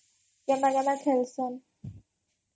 ଖେଲ୍ସନ୍?